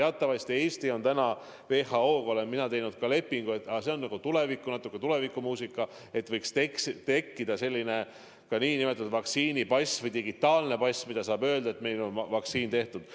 WHO-ga olen mina teatud lepingu teinud, aga see on natuke tulevikumuusika, et võiks olla nn vaktsiinipass või digitaalne pass, mis kinnitab, et inimene on vaktsineeritud.